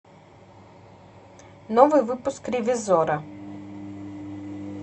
новый выпуск ревизора